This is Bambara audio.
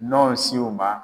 Nɔ si o ma.